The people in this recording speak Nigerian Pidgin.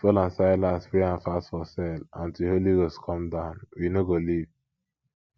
as paul and silas pray and fast for cell until holy ghost come down we no go leave